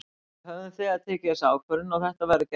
Við höfum þegar tekið þessa ákvörðun og þetta verður gert.